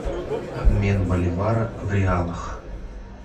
обмен боливара в реалах